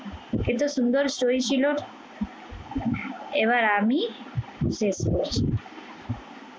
এতো সুন্দর story ছিল এবার আমি দেখবো।